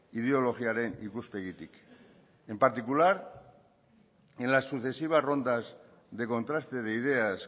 ideologiaren ikuspegitik en particular en las sucesivas rondas de contraste de ideas